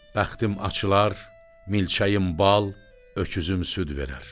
Bəxtim açılar, milçəyim bal, öküzüm süd verər.